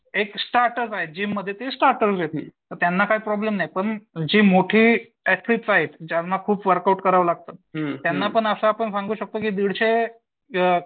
एक स्टार्टर्स आहेत जिम मध्ये ते मग त्यांना काय प्रॉब्लेम येतील त्यांना काय प्रॉब्लेम नाही पण जे मोठे ऍथलिट आहेत ज्यांना खूप वर्कआउट करायला लागतं त्यांना पण असं सांगू शकतो की आपण दीडशे.